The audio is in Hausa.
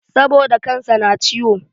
Saboda kan sa na ciwo